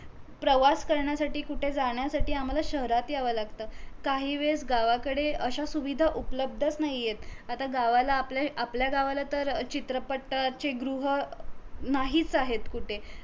प्रवास करणायसाठी कुठे जाण्यासाठी आम्हाला शहरात येवा लागत काही वेळ गावाकडे अश्या सुविधा उपलब्धच नाहीयेत आता गावाला आपले आपल्या गावाला तर चित्रपटाचेगृह अं नाहीच आहेत कुठे